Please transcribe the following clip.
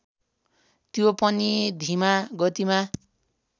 त्यो पनि धिमा गतिमा